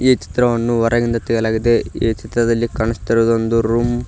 ಈ ಚಿತ್ರವನ್ನು ಹೊರಗಿಂದ ತೆಗೆಯಲಾಗಿದೆ ಈ ಚಿತ್ರದಲ್ಲಿ ಕಾಣಿಸ್ತಾ ಇರುವುದು ಒಂದು ರೂಮ್ --